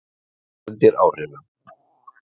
Próflaus og undir áhrifum